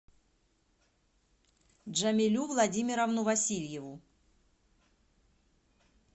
джамилю владимировну васильеву